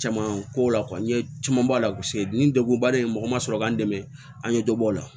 Caman ko la n ye caman b'a la ni degun ba de ye mɔgɔ ma sɔrɔ k'an dɛmɛ an ye dɔ bɔ o la